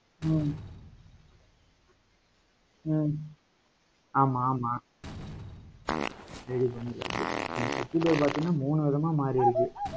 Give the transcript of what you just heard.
ஹம் ஹம் ஆமாம். ஆமாம். இது பண்ணிருக்காப்டி அந்த கட்சி பேரு பார்த்தீங்கன்னா மூணு விதமா மாறி இருக்கு.